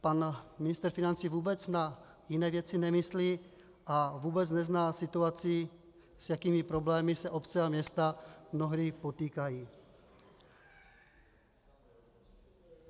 Pan ministr financí vůbec na jiné věci nemyslí a vůbec nezná situaci, s jakými problémy se obce a města mnohdy potýkají.